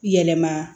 Yɛlɛma